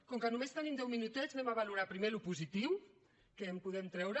com que només tenim deu minutets valorarem pri·mer el positiu què en podem treure